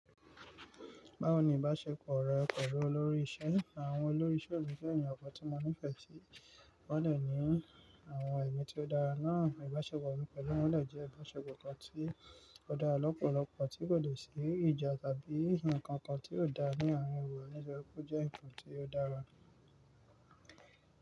Báwo ni ìbáṣepọ̀ rẹ pẹ̀lú olórí ìṣe, àwọn olórí ìṣe mi jẹ́ ènìyàn kan tí mo nífẹ̀ẹ́ sí, wọn lè ní àwọn iwa tí ó dára náà. Ìbáṣepọ̀ mi pẹ̀lú wọn dẹ jẹ́ ìbáṣepọ̀ kan tí ó dára lọ́pọ̀lọpọ̀, tí kò lè ṣì í ìjà tàbí ǹkan kan tí ó dáa ní àwọn wa, nítori wípé ó jẹ́ nǹkan tí ó dára.